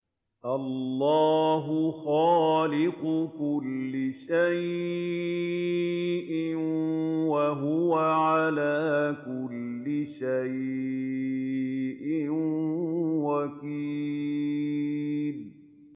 اللَّهُ خَالِقُ كُلِّ شَيْءٍ ۖ وَهُوَ عَلَىٰ كُلِّ شَيْءٍ وَكِيلٌ